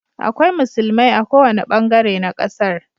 Akwai musulmia a kowane bangare na kasar